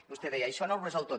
vostè deia això no ho resol tot